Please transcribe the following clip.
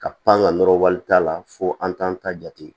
Ka pan ka nɔrɔ wari t'a la fo an t'an ta jate